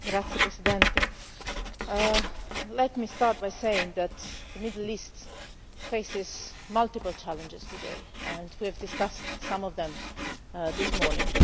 Mr President, let me start by saying that the Middle East faces multiple challenges today, and we have discussed some of them this morning.